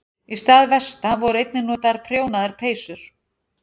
Í stað vesta voru einnig notaðar prjónaðar peysur.